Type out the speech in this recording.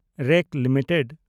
rate limited